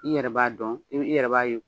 I yɛrɛ b'a dɔn i i yɛrɛ b'a ye.